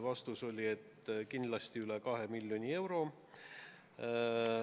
Vastus oli, et kindlasti üle kahe miljoni euro.